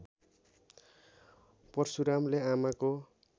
परशुरामले आमाको